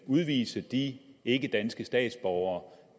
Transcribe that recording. udvise de ikkedanske statsborgere